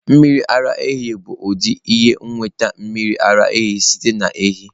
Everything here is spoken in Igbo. Mmiri ara ehi bụ ụdị ịnweta mmiri ara ehi site na ehi.